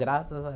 Graças a